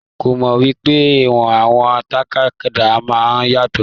Ko mọ wípé ìwọ̀n àwọn tàkádá náà yàtọ.